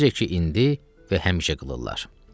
Necə ki indi və həmişə qılırlar.